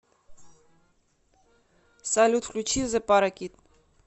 салют включи зэ паракит